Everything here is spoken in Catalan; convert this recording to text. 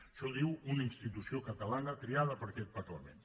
això ho diu una institució catalana triada per aquest parlament